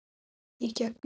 Í gegnum